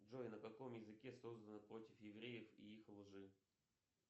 джой на каком языке создано против евреев и их лжи